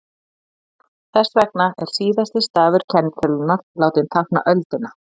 þess vegna er síðasti stafur kennitölunnar látinn tákna öldina